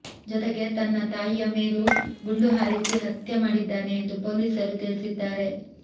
ಜೊತೆಗೆ ತನ್ನ ತಾಯಿಯ ಮೇಲೂ ಗುಂಡು ಹಾರಿಸಿ ಹತ್ಯೆ ಮಾಡಿದ್ದಾನೆ ಎಂದು ಪೊಲೀಸರು ತಿಳಿಸಿದ್ದಾರೆ